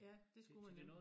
Ja det skulle man nemlig